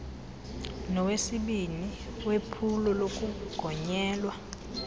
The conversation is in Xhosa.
nowesibini wephulo lokugonyela